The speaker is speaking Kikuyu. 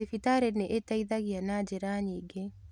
Thibitarĩnĩĩteithagia na njĩra nyingĩ.